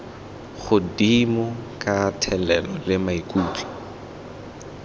godimo ka thelelo le maikutlo